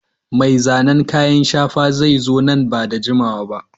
Mai zanen kayan shafa zai zo nan ba da jimawa ba.